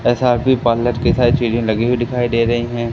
ऐसा भी पार्लर के साइड चीजें लगी हुई दिखाई दे रही है।